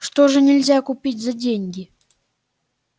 что же нельзя купить за деньги